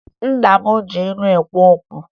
Nna m ji ilu ekwu okwu